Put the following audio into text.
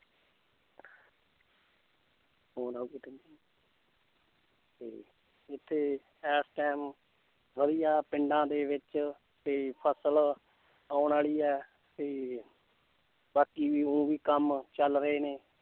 ਤੇ ਇੱਥੇ ਇਸ time ਵਧੀਆ ਪਿੰਡਾਂ ਦੇ ਵਿੱਚ ਤੇ ਫਸਲ ਆਉਣ ਵਾਲੀ ਹੈ ਤੇ ਬਾਕੀ ਵੀ ਊਂ ਵੀ ਕੰਮ ਚੱਲ ਰਹੇ ਨੇ